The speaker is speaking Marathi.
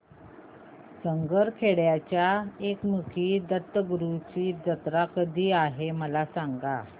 सारंगखेड्याच्या एकमुखी दत्तगुरूंची जत्रा कधी आहे मला सांगा